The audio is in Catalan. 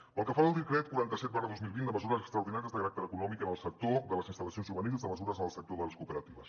pel que fa al decret quaranta set dos mil vint de mesures extraordinàries de caràcter econòmic en el sector de les instal·lacions juvenils i de mesures en el sector de les cooperatives